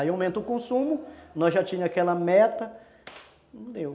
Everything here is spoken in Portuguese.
Aí aumenta o consumo, nós já tínhamos aquela meta, não deu.